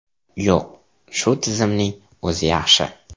Yo‘q, shu tizimning o‘zi yaxshi.